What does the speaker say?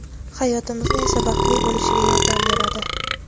hayotimizni esa baxtli bo‘lishiga yordam beradi.